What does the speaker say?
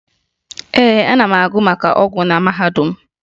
Ee, ana m agụ maka ọgwụ na mahadum